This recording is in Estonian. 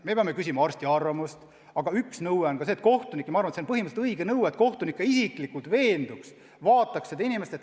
Me peame küsima arsti arvamust, aga üks nõue on see, et kohtunik – ja ma arvan, et see on põhimõtteliselt õige nõue – isiklikult vaataks konkreetse inimese üle.